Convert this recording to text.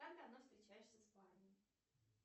как давно встречаешься с парнем